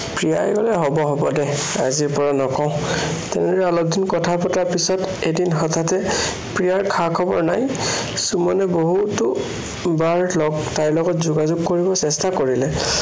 প্ৰিয়াই কলে, হ'ব হ'ব দে, আজিৰ পৰা নকও। তেনেকে অলপদিন কথা পতাৰ পিছত এদি হঠাতে প্ৰিয়াৰ খা-খবৰ নাই। সুমনে বহুতোবাৰ তাইৰ লগত যোগাযোগ কৰিবলৈ চেষ্টা কৰিলে